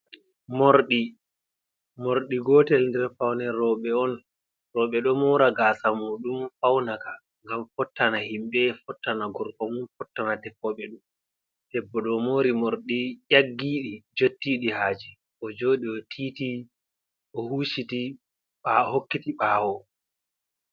Morɗi, morɗi gotel nɗer powne roɓe on. Roɓe ɗo mora gasa muɗum paunaka. Ngam fottan himbe, fottana gorko mum, fottana tefeɓe mom. Ɗeɓɓo ɗo mori morɗi yaggiɗi, jottiɗi haje. Ojoɗi otiti, ohuciti, ɓa ohokkiti ɓawo.